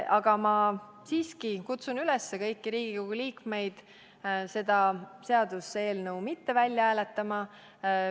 Aga ma siiski kutsun üles kõiki Riigikogu liikmeid seda seaduseelnõu mitte välja hääletama.